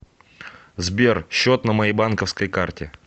сбер счет на моей банковской карте